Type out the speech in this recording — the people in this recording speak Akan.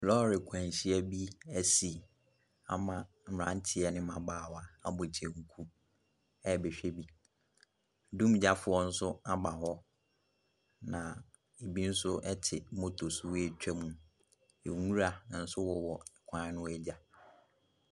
Lɔɔre akwanhyia bi asi ama mmerante ne mmabaawa abɔ kyɛnku ɛrebɛhwɛ bi, dumgyafo nso aba hɔ, na bi nso te moto so ɛretwa mu. Nwura nso wowɔ kwan no agya.